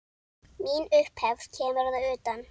Mín upphefð kemur að utan.